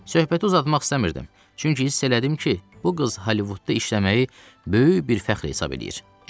Söhbəti uzatmaq istəmirdim, çünki hiss elədim ki, bu qız Hollivudda işləməyi böyük bir fəxr hesab eləyir.